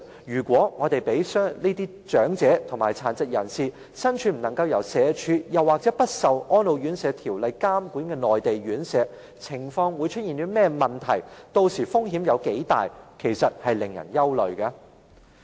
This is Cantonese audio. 如果長者或殘疾人士身處不受社會福利署或《安老院條例》監管的內地院舍，屆時會出現甚麼情況，或會有多大風險呢？